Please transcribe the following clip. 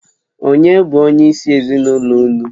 Ònye bụ onyeisi ezinụlọ unu?